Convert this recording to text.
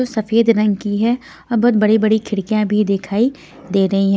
जो सफेद रंग की है और बहुत बड़ी-बड़ी खिड़कियां भी दिखाई दे रही है.